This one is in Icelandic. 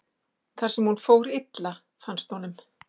þar sem hún fór illa, fannst honum.